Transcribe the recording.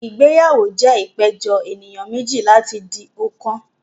Ìgbéyàwó jẹ́ ìpéjọ ènìyàn méjì láti di ọ̀kan